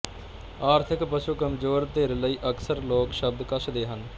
ਆਰਥਿਕ ਪੱਖੋਂ ਕਮਜ਼ੋਰ ਧਿਰ ਲਈ ਅਕਸਰ ਲੋਕ ਸ਼ਬਦ ਕੱਸਦੇ ਹਨ